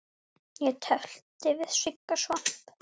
Ég tefldi við Sigga Svamp.